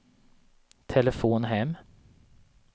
telefon hem